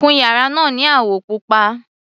Kun yàrá náà ni àwọ̀ pupa.